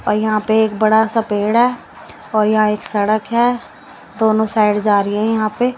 और यहां पे एक बड़ा सा पेड़ है और यहां एक सड़क है दोनों साइड जा रही है यहां पे --